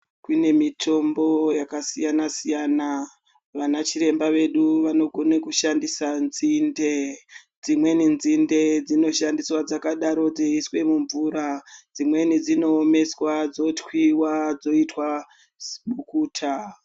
Kune mitombo yakasiyana siyana vana chiremba vedu vanogone kushandise nzinde dzimweni nzinde dzinogone kushandiswa dzakadaro dzeiiswe mumvura dzimweni dzinoomeswa dzotwiwa dzoitwa sibukuta.